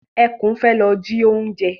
Ẹkún fẹ́ lọ ji oúnjẹ.